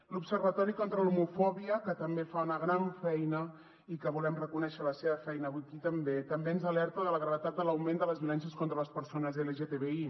l’observatori contra l’homofòbia que també fa una gran feina i que volem reconèixer la seva feina avui aquí també també ens alerta de la gravetat de l’augment de les violències contra les persones lgtbi